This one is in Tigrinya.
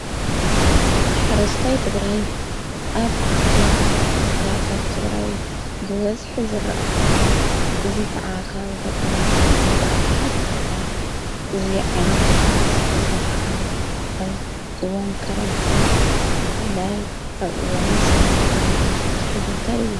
ሓረስታይ ትግራይ ኣብ መብዛሕቲኡ ካብታት ትግራይ ብበዝሒ ዘረአ ኾይኑ እዙይ ከዓ ኻኣብ ገጠራት ኢሉ ኣብዝኃ ዝረአ እዙ ዓይነት መሓረስ ዘ ኸዓ ኣብወን ከረንቲ ክፍልላይ ኣወን ሰነካ ከባቢ ብዙሕ ይዝውተር እዩ።